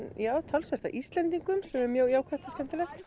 talsvert af Íslendingum sem er mjög jákvætt og skemmtilegt